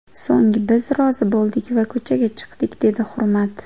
So‘ng biz rozi bo‘ldik va ko‘chaga chiqdik”, dedi Hurmat.